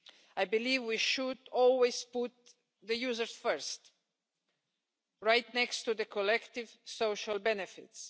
I believe we should always put the users first right next to the collective social benefits.